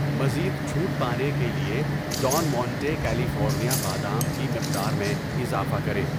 مزید چھوٹ پانے کے لیے ڈان مونٹے کیلیفورنیا بادام کی مقدار میں اضافہ کریں